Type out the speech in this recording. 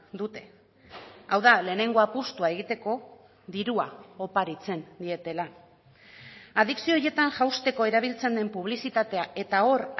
dute hau da lehenengo apustua egiteko dirua oparitzen dietela adikzio horietan jausteko erabiltzen den publizitatea eta hor